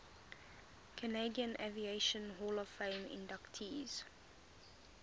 canadian aviation hall of fame inductees